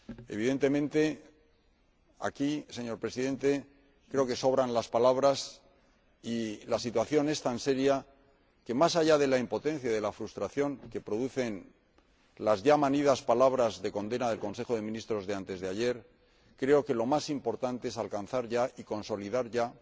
Evidentemente, señor Presidente, en este caso creo que sobran las palabras, y la situación es tan seria que, más allá de la impotencia y de la frustración que producen las ya manidas palabras de condena del Consejo de Ministros de anteayer, creo que lo más importante es alcanzar ya, y consolidar ya,